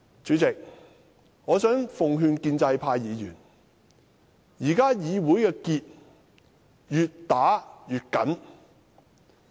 主席，我奉勸建制派議員，現在議會的結越打越緊。